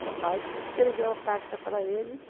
O papai que escreveu a carta para eles.